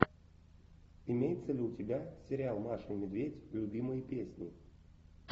имеется ли у тебя сериал маша и медведь любимые песни